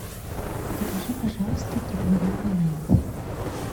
закажи пожалуйста килограмм бананов